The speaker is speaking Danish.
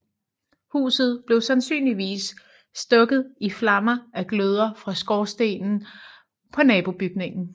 Huset blev sandsynligvis stukket i flammer af gløder fra skorstenen på en nabobygning